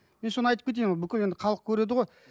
мен соны айтып кетейін ол бүкіл енді халық көреді ғой